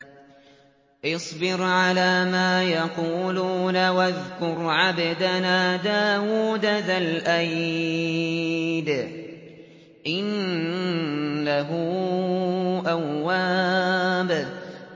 اصْبِرْ عَلَىٰ مَا يَقُولُونَ وَاذْكُرْ عَبْدَنَا دَاوُودَ ذَا الْأَيْدِ ۖ إِنَّهُ أَوَّابٌ